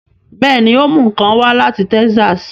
Bẹẹni, o mú nkán wá lati Texas